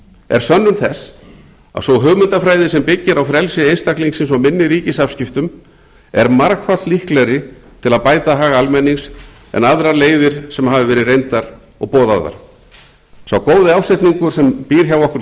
er sönnun þess að sú hugmyndafræði sem byggir á frelsi einstaklingsins og minni ríkisafskiptum er margfalt líklegri til að bæta hag almennings en aðrar leiðir sem hafa verið reyndar og boðaðar sá góði ásetningur sem býr hjá okkur